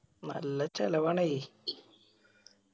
നല്ല ചെലവാണയ്